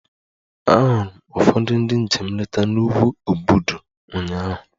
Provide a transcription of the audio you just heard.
Ahụrụ m ụfọdụ ndị njem nleta n'ugwu obudu ụnyaahụ